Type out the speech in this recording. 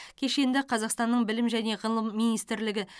кешенді қазақстанның білім және ғылым министрлігі